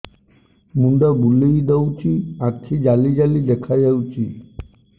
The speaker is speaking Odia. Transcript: ମୁଣ୍ଡ ବୁଲେଇ ଦଉଚି ଆଖି ଜାଲି ଜାଲି ଦେଖା ଯାଉଚି